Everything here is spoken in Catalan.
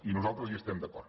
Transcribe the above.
i nosaltres hi estem d’acord